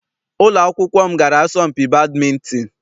Ụlọ akwụkwọ m gara asọmpi badịmịntịn.